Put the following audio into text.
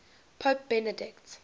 pope benedict